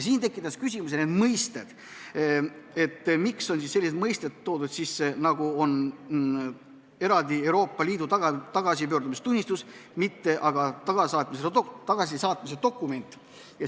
Siin tekitasid küsimusi mõisted, et miks on sisse toodud sellised mõisted nagu eraldi Euroopa Liidu tagasipöördumistunnistus, mitte aga tagasisaatmise dokument.